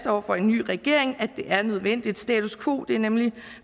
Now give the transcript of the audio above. over for en ny regering altså at det er nødvendigt status quo er nemlig